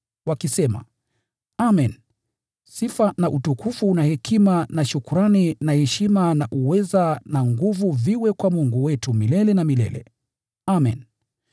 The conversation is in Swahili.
wakisema: “Amen! Sifa na utukufu na hekima na shukrani na heshima na uweza na nguvu viwe kwa Mungu wetu milele na milele. Amen!”